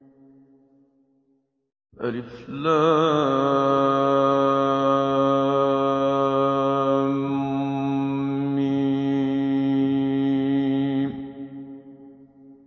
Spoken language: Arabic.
الم